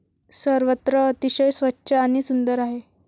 सर्वत्र अतिशय स्वच्छ आणि सुंदर आहे.